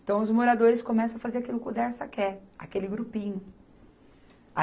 Então, os moradores começam a fazer aquilo que o Dersa quer, aquele grupinho.